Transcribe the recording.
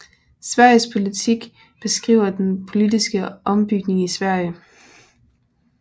Sveriges politik beskriver den politiske opbygning i Sverige